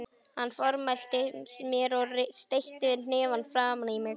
Hann formælti mér og steytti hnefann framan í mig.